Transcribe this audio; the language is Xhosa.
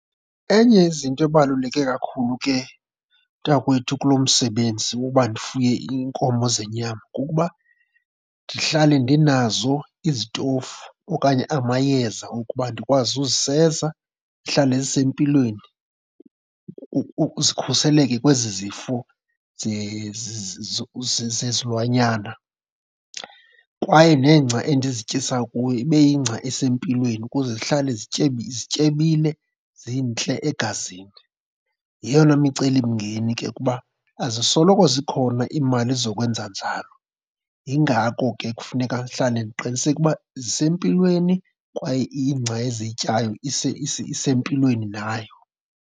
Enye yezinto ebaluleke kakhulu ke mntakwethu kulo msebenzi woba ndifuye iinkomo zenyama kukuba ndihlale ndinazo izitofu okanye amayeza okuba ndikwazi uziseza zihlale zisempilweni, zikhuseleke kwezi zifo zezilwanyana. Kwaye nengca endizityisa kuyo ibe yingca esempilweni ukuze zihlale zityebile, zintle egazini. Yeyona micelimngeni ke kuba azisoloko zikhona iimali zokwenza njalo. Yingako ke kufuneka ndihlale ndiqiniseke ukuba zisempilweni kwaye ingca eziyityayo isempilweni nayo.